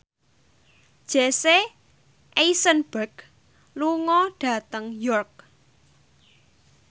Jesse Eisenberg lunga dhateng York